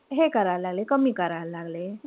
हे करायला लागले. कमी करायला लागले.